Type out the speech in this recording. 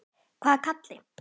Hvaða Kalli?